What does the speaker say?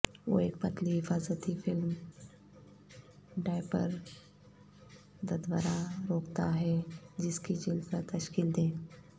وہ ایک پتلی حفاظتی فلم ڈایپر ددورا روکتا ہے جس کی جلد پر تشکیل دیں